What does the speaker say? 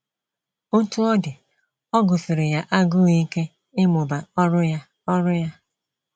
Otú ọ dị, ọ gụsiri ya agụụ ike ịmụba ọrụ ya. ọrụ ya.